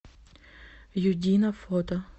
юдино фото